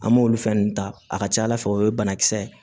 An m'olu fɛn nunnu ta a ka ca ala fɛ o ye banakisɛ ye